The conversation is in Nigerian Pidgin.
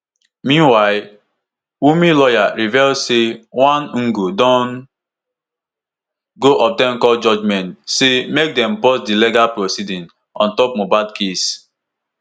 meanwhile wunmi lawyer reveal say one ngo don go obtain court judgement say make dem pause di legal proceedings ontop mohbad case.